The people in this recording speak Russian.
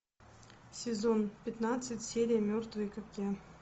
сезон пятнадцать серия мертвые как я